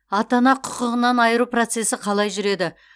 ата ана құқығынан айыру процесі қалай жүреді